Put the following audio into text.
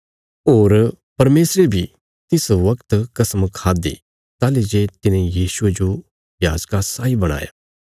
होर परमेशरे बी तिस वगत कसम खाद्दि ताहली जे तिने यीशुये जो याजका साई बणाया